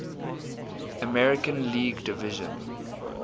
american league division